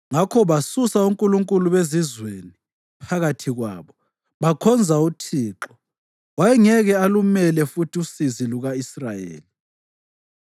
Ngakho basusa onkulunkulu bezizweni phakathi kwabo bakhonza uThixo. Wayengeke alumele futhi usizi luka-Israyeli.